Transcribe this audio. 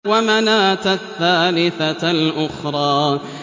وَمَنَاةَ الثَّالِثَةَ الْأُخْرَىٰ